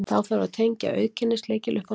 þá þarf að tengja auðkennislykil upp á nýtt